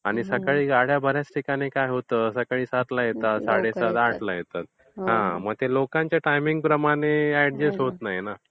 आणि सकाळी गाड्या बर् याच ठिकाणी काय होतं सकाळी सातला येतात, साडेसात-आठला येतात. हा मग ते लोकांच्या टायमिंग प्रमाणे अॅडजस्ट होत नाही ना.